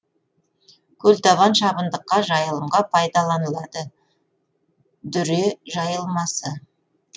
көлтабан шабындыққа жайылымға пайдаланылады дүре жайылмасы